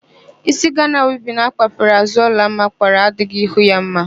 Ísí Gana wivin akpafere àzụ́ Ọlụọma kpara adỊghỊ ihu ya mma.